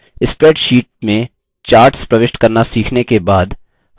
spreadsheet में charts प्रविष्ट करना सीखने के बाद